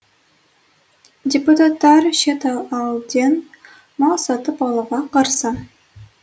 депутаттар шет елден мал сатып алуға қарсы